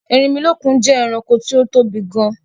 Erinmí je eranko tó tóbi gan